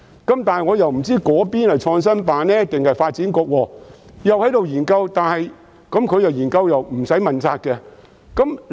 但是，我不知是創新辦還是發展局卻正在研究，而研究是無須問責的。